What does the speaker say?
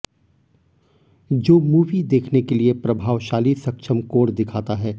जो मूवी देखने के लिए प्रभावशाली सक्षम कोण दिखाता है